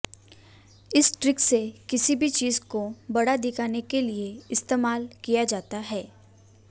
इस ट्रिक से किसी भी चीज को बड़ा दिखाने के लिए इस्तेमाल किया जाता है